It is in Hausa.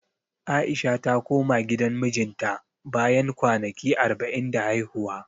A'isha ta koma gidan mijinta, bayan kwanaki arba'in da haihuwa.